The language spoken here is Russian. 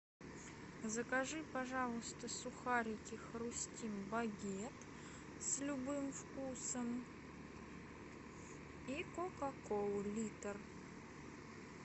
закажи пожалуйста сухарики хрустим багет с любым вкусом и кока колу литр